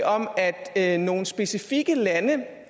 om at at nogle specifikke lande